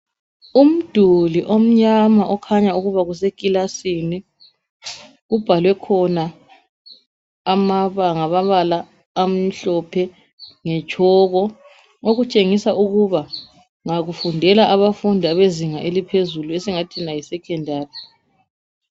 Umduli omnyana okhanya ukuba kusekilasini kubhalwe khona ngamabala amhlophe ngetshoko okutshengisa ukuba kufundela abafundi abezinga eliohezulu esingathi yisecondary